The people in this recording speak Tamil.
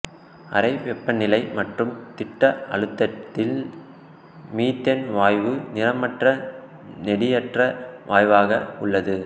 அறை வெப்பநிலை மற்றும் திட்ட அழுத்தத்தில் மீத்தேன் வாயு நிறமற்ற நெடியற்ற வாயுவாக உள்ளது